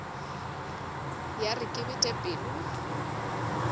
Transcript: ya re ke bete pelo